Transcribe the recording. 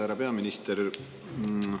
Härra peaminister!